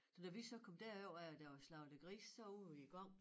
Så når vi så kom derover af og der var slagtet grise så ude i æ gang